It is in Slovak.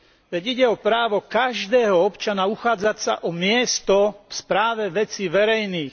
Veď ide o právo každého občana uchádzať sa o miesto v správe vecí verejných.